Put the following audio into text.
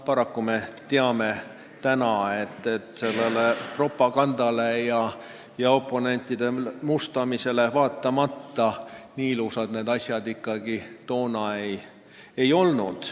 Paraku me teame nüüd, et sellele propagandale ja oponentide mustamisele vaatamata nii ilusad need asjad toona ikkagi ei olnud.